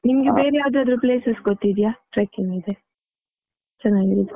ನಿಮ್ಗೆ ಬೇರೆ ಯಾವದಾದ್ರು places ಗೊತ್ತಿದೆಯಾ, trucking ಗಿಗೆ ಚೆನ್ನಾಗಿರೋದು.